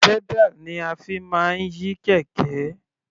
Pedal ni a fi máa ń yí kẹ̀kẹ́.